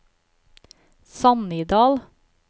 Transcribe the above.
Sannidal